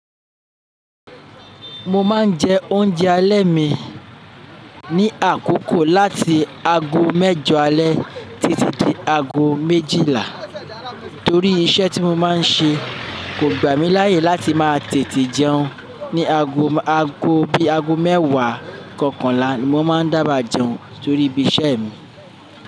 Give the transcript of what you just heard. Mo máa ń jẹ oúnjẹ alẹ́ mi ní àkókò láti ago mẹ́jọ alẹ́ títí dé ago méjìlá, torí iṣẹ́ tí mo máa ń ṣe kò gbà mí láyè láti máa tètè jẹun ní ago, ago bí ago mẹ́wàá kankanla ni mo máa ń dába jẹun torí ibi iṣẹ́ mi.